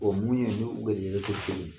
Ɔ mun ye ni u garijɛgɛ tɛ kelen ye